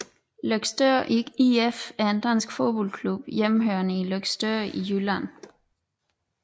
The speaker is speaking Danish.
Løgstør IF er en dansk fodboldklub hjemmehørende i Løgstør i Jylland